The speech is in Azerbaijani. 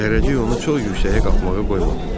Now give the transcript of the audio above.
Zərrəcik onu çox yüksəyə qalxmağa qoymadı.